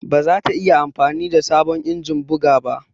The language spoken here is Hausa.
Ba za ta iya amfani da sabon injin buga ba.